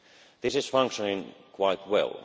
This is functioning quite well.